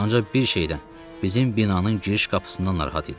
Ancaq bir şeydən, bizim binanın giriş qapısından narahat idim.